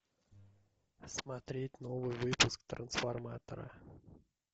смотреть новый выпуск трансформатора